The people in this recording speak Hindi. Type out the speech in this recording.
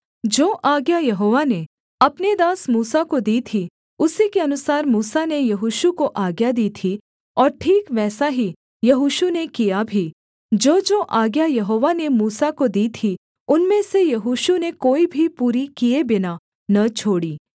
जो आज्ञा यहोवा ने अपने दास मूसा को दी थी उसी के अनुसार मूसा ने यहोशू को आज्ञा दी थी और ठीक वैसा ही यहोशू ने किया भी जोजो आज्ञा यहोवा ने मूसा को दी थी उनमें से यहोशू ने कोई भी पूरी किए बिना न छोड़ी